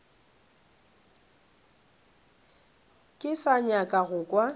ke sa nyaka go kwa